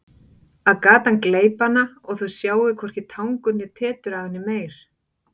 Að gatan gleypi hana og þau sjái hvorki tangur né tetur af henni meir.